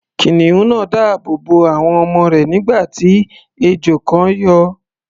Kìnìún náà dáàbò bo àwọn ọmọ rẹ̀, nígbà tí ejò kan yọ.